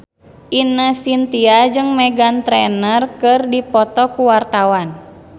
Ine Shintya jeung Meghan Trainor keur dipoto ku wartawan